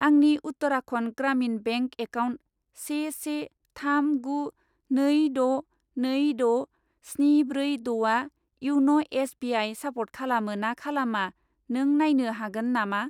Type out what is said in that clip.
आंनि Uttarakhand Gramin bank account से से थाम गु नै द' नै द' स्नि ब्रै द'आ इयन' एस बि आइ सापर्ट खालामो ना खालामा नों नायनो हागोन नामा?